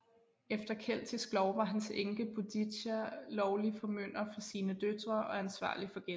Efter keltisk lov var hans enke Boudicca lovlig formynder for sine døtre og ansvarlig for gælden